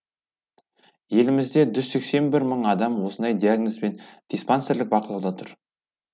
елімізде жүз сексен бір мың адам осындай диагнозбен диспансерлік бақылауда тұр